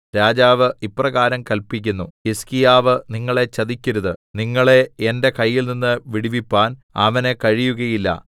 രാജാവ് ഇപ്രകാരം കല്പിക്കുന്നു ഹിസ്കീയാവ് നിങ്ങളെ ചതിക്കരുത് നിങ്ങളെ എന്റെ കയ്യിൽനിന്ന് വിടുവിപ്പാൻ അവന് കഴിയുകയില്ല